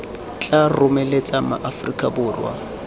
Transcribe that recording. tla lomeletsa ma aforika borwa